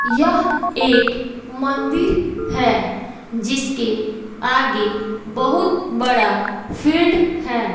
यह एक मंदिर है जिसके आगे बहुत बड़ा फील्ड है।